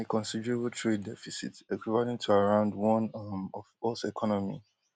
a considerable trade deficit equivalent to around one um of us economy